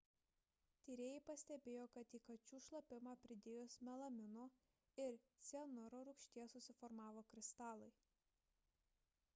tyrėjai pastebėjo kad į kačių šlapimą pridėjus melamino ir cianuro rūgšties susiformavo kristalai